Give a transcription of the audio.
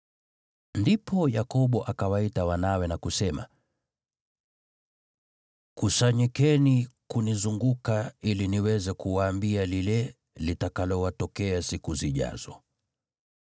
Ndipo Yakobo akawaita wanawe na kusema: “Kusanyikeni kunizunguka ili niweze kuwaambia lile litakalowatokea siku zijazo.